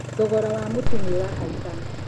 Thogora wa mũtu nĩ ũrahaica.